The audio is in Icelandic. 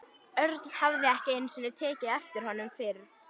Örn hafði ekki einu sinni tekið eftir honum fyrr.